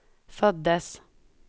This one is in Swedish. föddes